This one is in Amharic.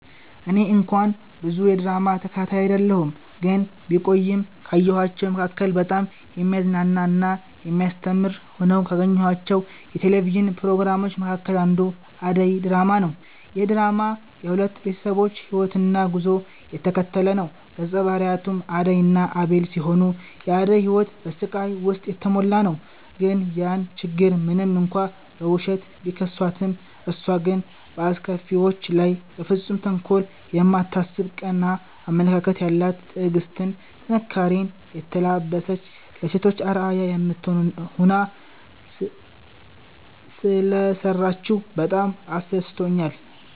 እኔ እንኳን ብዙ የድራማ ተከታታይ አይደለሁ ግን ቢቆይም ካየኋቸዉ መካከል በጣም የሚያዝናና እና የሚያስተምር ሆነው ካገኘኋቸው የቴሌቪዥን ፕሮግራሞች መካከል አንዱ አደይ ድራማ ነዉ። ይህ ድራማ የሁለት ቤተሰቦችን ህይወትና ጉዞ የተከተለ ነዉ ገፀ ባህሪያቱም አደይ እና አቤል ሲሆኑ የአደይ ህይወት በስቃይ ዉስጥ የተሞላ ነዉ ነገር ግን ያን ችግር ሞንም እንኳን በዉሸት፣ ቢከሷትም እሷ ግን በአስከፊዎቿ ላይ በፍፁም ተንኮል የማታስብ ቀና አመለካከት ያላት ትዕግስትን፣ ጥንካሬኔ የተላበሰች ለሴቶች አርአያ የምትሆን ሆና ሰለሰራችዉ በጣም አስደስቶኛል።